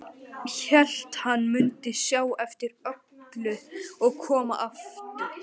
Hélt hann mundi sjá eftir öllu og koma aftur.